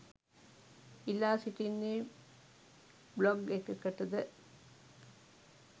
ඉල්ලා සිටින්නේ බ්ලොග් එකකටද